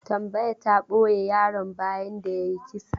Tambaya ta ɓoye yaron bayan da ya yi kisa.